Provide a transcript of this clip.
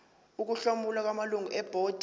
ukuhlomula kwamalungu ebhodi